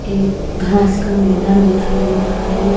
एक घास का मैदान दिखाई दे रहा हैं।